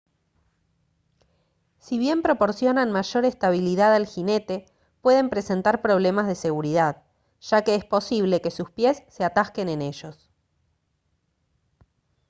si bien proporcionan mayor estabilidad al jinete pueden presentar problemas de seguridad ya que es posible que sus pies se atasquen en ellos